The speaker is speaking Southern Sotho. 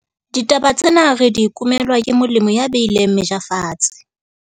Ditaba tsena re di kumelwa ke molemi ya beileng meja fatshe.